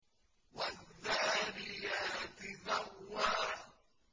وَالذَّارِيَاتِ ذَرْوًا